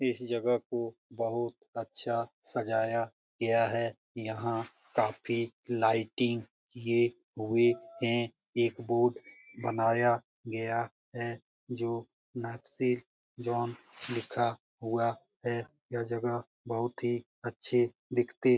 इस जगह को बहुत अच्छा सजाया गया है यहां काफी लाइटिंग किए हुए है एक बोर्ड बनाया हुआ है जो नाकसिक जॉन लिखा हुआ है यह जगह बहुत अच्छी दिखती --